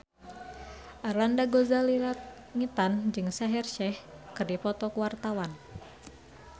Arlanda Ghazali Langitan jeung Shaheer Sheikh keur dipoto ku wartawan